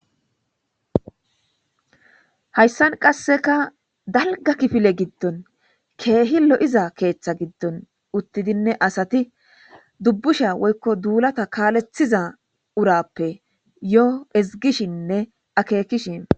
Hayssan qasekka dalgga kifile giddon keehi lo'iza keeththa giddon uuttidinne asatti duunbushsha woykko duullatta kalleththiza uurappe yoo ezgishinne akekishe de'ossonna